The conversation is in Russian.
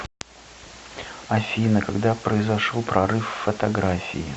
афина когда произошел прорыв в фотографии